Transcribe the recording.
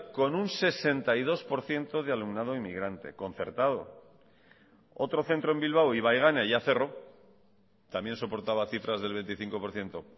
con un sesenta y dos por ciento de alumnado inmigrante concertado otro centro en bilbao ibaigane ya cerró también soportaba cifras del veinticinco por ciento